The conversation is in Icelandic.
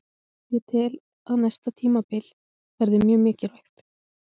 Ég tel að næsta tímabil verði mjög mikilvægt.